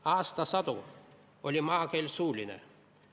Aastasadu oli maakeel suuline.